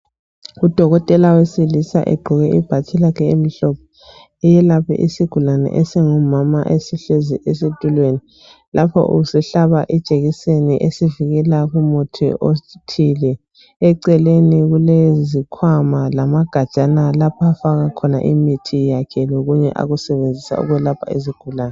Udokotela wesilisa egqoke ibhatshi lakhe elimhlophe, uyelapha isigulane esingumama esihlezi esitulweni. Lapha usihlaba ijekiseni esivikela kumuthi othile. Eceleni kulezikhwama lamagajana laph' afaka khona imithi yakhe lokunye akusebenzisa ukwelapha izigulane.